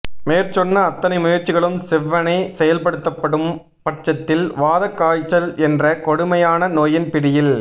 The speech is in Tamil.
மேற்சொன்ன அத்தனை முயற்சிகளும் செவ்வனே செயல்படுத்தப்படும்பட்சத்தில் வாதக் காய்ச்சல் என்ற கொடுமையான நோயின் பிடியில்